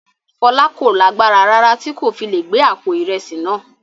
Fọlá kò lágbára rárá tí kò fi le gbé àpò ìrẹsì náà.